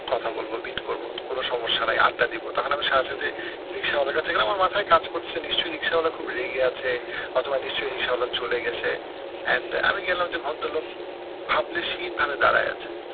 কথা বলবো meet করবো কোনো সমস্যা নাই আড্ডা দিবো তাহলে আমি সাথে সাথে রিক্সাওয়ালার কাছে গেলাম আমার মাথায় কাজ করছে নিশ্চই রিক্সাওয়ালা খুব রেগে আছে অথবা নিশ্চই রিক্সাওয়ালা চলে গেছে and আমি গেলাম যে ভদ্রলোক ভাবলেশহীন ভাবে দাঁড়ায় আছে।